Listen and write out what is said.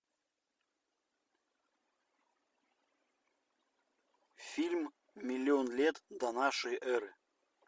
фильм миллион лет до нашей эры